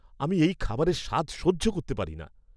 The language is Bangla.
আমি এই খাবারের স্বাদ সহ্য করতে পারি না।